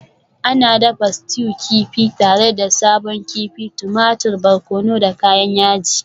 Ana dafa stew kifi tare da sabon kifi, tumatir, barkono da kayan yaji.